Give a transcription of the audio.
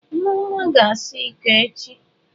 Nneoma ga-asa iko echi.